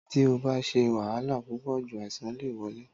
Tí o bá ṣé wahala púpò jù, àìsàn lè wole